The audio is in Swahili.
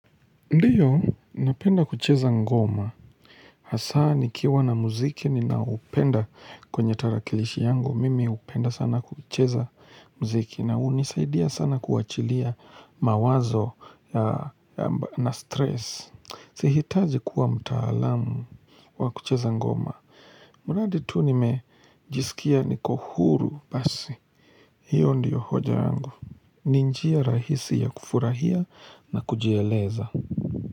Ndio, napenda kucheza ngoma. Hasa nikiwa na muziki, ninaoupenda kwenye tarakilishi yangu Mimi upenda sana kucheza muziki. Na unisaidia sana kuachilia mawazo na stress. Sihitazi kuwa mtaalamu wa kucheza ngoma. Mradi tu nimejisikia niko huru basi. Hiyo ndiyo hoja yangu. Ni njia rahisi ya kufurahia na kujieleza.